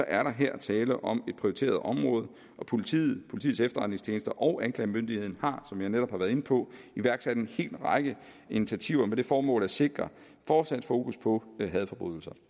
er der her tale om et prioriteret område og politiet politiets efterretningstjeneste og anklagemyndigheden har som jeg netop har været inde på iværksat en hel række initiativer med det formål at sikre fortsat fokus på hadforbrydelser